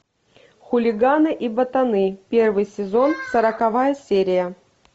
хулиганы и ботаны первый сезон сороковая серия